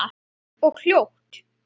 Hægt og hljótt.